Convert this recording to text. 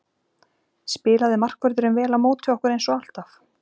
Spilaði markvörðurinn vel á móti okkur eins og alltaf?